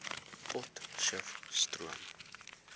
potcheftsroom